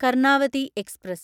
Karnavati express